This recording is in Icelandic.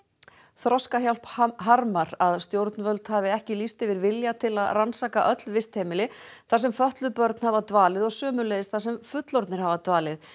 Þroskahjálp harmar að stjórnvöld hafi ekki lýst yfir vilja til að rannsaka öll vistheimili þar sem fötluð börn hafa dvalið og sömuleiðis þar sem fullorðnir hafi dvalið